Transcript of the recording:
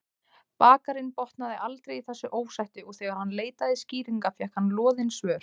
Bakarinn botnaði aldrei í þessu ósætti og þegar hann leitaði skýringa fékk hann loðin svör.